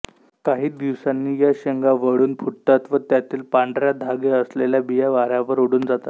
काही दिवसांनी या शेंगा वळून फुटतात व त्यातील पांढऱ्या धागे असलेल्या बिया वाऱ्यावर उडून जातात